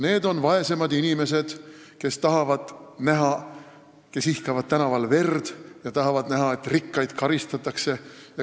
Need on vaesemad inimesed, kes ihkavad tänaval näha verd ja tahavad näha, et rikkaid karistataks.